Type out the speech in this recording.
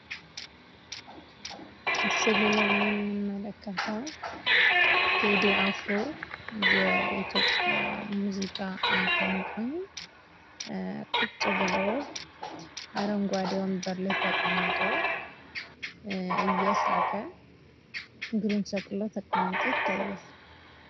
በምስሉ ላይ የምንመለከተው ቴዲ አፍሮ የኢትዮጵያ መዚቃ አቀንቃኝ፣ አረንጓዴ ወንበር ላይ እግሩን ሰቅሎ ተቀምጦ፣ እየሳቀ ይታያል።